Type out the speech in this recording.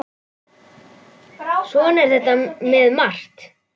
Svona er þetta með margt.